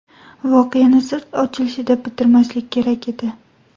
Voqeani sir ochilishida bitirmaslik kerak edi.